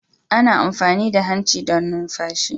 Ana amfani da hanci don numfashi